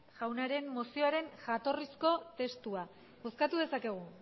jaunaren mozioaren jatorrizko testua bozkatu dezakegu